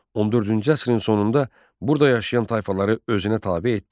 14-cü əsrin sonunda burda yaşayan tayfaları özünə tabe etdi.